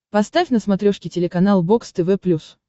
поставь на смотрешке телеканал бокс тв плюс